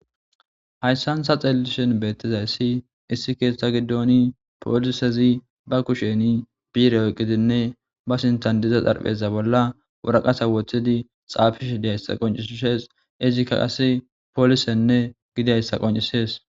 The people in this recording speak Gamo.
Hayssan sa xeelishen beettizayssi issi keeththa giddooni poolisezi ba kusheni biire oqqidinne ba sintan diza xarpheza bolla wuraqasa woththidi xaafish diyayssa qoncisshees izika qas poolisenne gidayssa qoncisees.